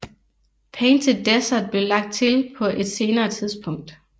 Painted Desert blev lagt til på et senere tidspunkt